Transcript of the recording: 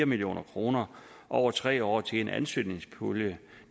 million kroner over tre år til en ansøgningspulje